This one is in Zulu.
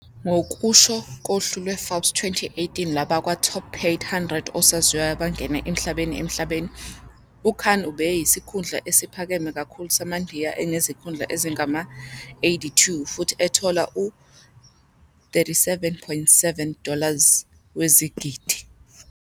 Ngokusho kohlu lweForbes 2018 lwabakwa-Top-Paid 100 Osaziwayo Abangena Emhlabeni emhlabeni, uKhan ubeyisikhundla esiphakeme kakhulu samaNdiya enezikhundla ezingama-82 futhi ethola u- 37.7 dollars wezigidi.